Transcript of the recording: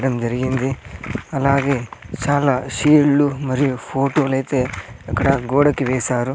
యుద్ధం జరిగింది అలాగే చాలా షీల్డ్లు మరియు ఫోటోలైతే అక్కడ గోడకి వేసారు.